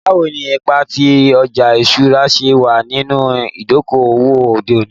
Bawo ni ipa ti ọja iṣura ṣe wa ninu idoko-owo ode oni?